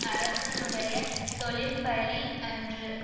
அரசனுடைய தொழில் பழி அன்று